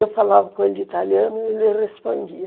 Eu falava com ele italiano e ele respondia.